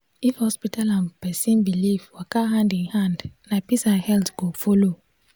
if hospital and person belief waka hand in hand na peace and health go follow.